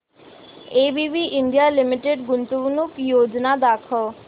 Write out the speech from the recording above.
ABB India limited गुंतवणूक योजना दाखव